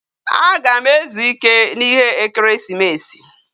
Agam ezu ike na ihe ekeresimesi